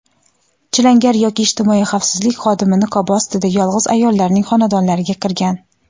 chilangar yoki ijtimoiy xavfsizlik xodimi niqobi ostida yolg‘iz ayollarning xonadonlariga kirgan.